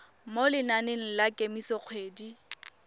mo lenaneng la kemiso dikgwedi